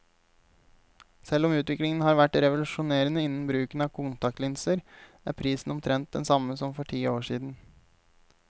Selv om utviklingen har vært revolusjonerende innen bruken av kontaktlinser, er prisen omtrent den samme som for ti år siden.